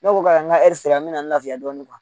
sera n mɛna n laafiya dɔɔni